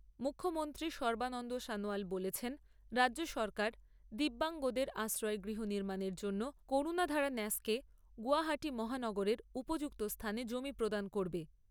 মুখ্যমন্ত্রী সর্বানন্দ সনোয়াল বলেছেন রাজ্য সরকার দিব্যাঙ্গদের আশ্রয় গৃহ নির্মাণের জন্য করুণাধারা ন্যাসকে গৌহাটী মহানগরের উপযুক্ত স্থানে জমি প্রদান করবে।